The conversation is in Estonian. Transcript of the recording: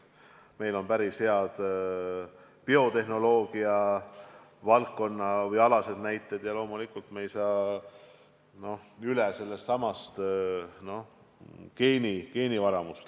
Meil on päris head biotehnoloogia valdkonna näited ja loomulikult me ei saa üle ega ümber geenivaramust.